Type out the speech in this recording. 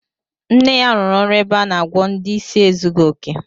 Nne ya rụrụ ọrụ ebe a na-agwọ ndị isi ezughi oke